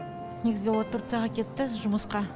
негізінде ол турцияға кетті жұмысқа